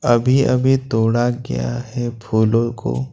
अभी अभी तोड़ा गया है फूलों को।